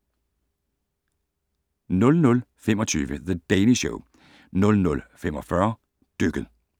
00:25: The Daily Show 00:45: Dykket